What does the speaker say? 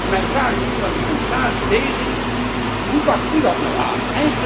Mijn vraag is nu aan de commissaris hoe pakt u dat nu aan?